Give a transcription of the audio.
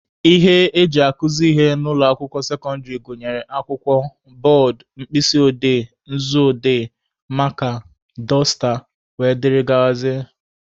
Ihe eji akụzị ihe n'ụlọ akwụkwọ sekọndịrị gụnyere akwụkwọ, bọọdụ, mkpịsị odee/nzu odee, maaka, dọsta wdg